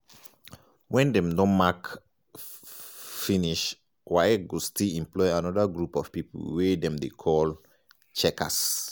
wen dem don mark finish waec go still employ anoda group of pipo um wey dem dey call um checkers.